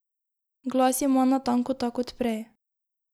Glas ima natanko tak kot prej.